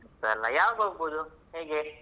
ಯಾವಾಗ ಹೋಗಬಹುದು ಹೇಗೆ?